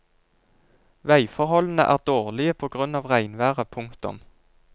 Vegforholdene er dårlige på grunn av regnværet. punktum